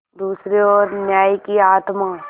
दूसरी ओर न्याय की आत्मा